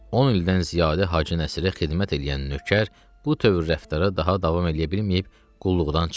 On ildən ziyadə Hacı Nəsirə xidmət eləyən nökər bu tövr rəftara daha davam eləyə bilməyib qulluqdan çıxdı.